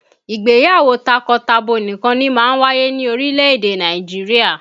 Ìgbéyàwó takọtabo nìkan ni máa ń wáyé ní orílè-èdè Nàìjirià